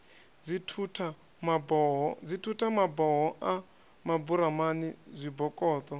dzithutha maboho a maburamani zwibokoṱo